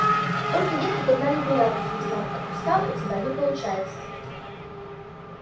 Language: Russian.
только есть тут одна неприятность лейтенант отпуска у тебя не получается